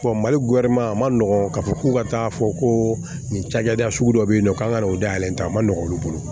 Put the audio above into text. mali a man nɔgɔn k'a fɔ k'u ka taa fɔ ko nin cakɛda sugu dɔ be yen nɔ k'an ka ta a ma nɔgɔn olu bolo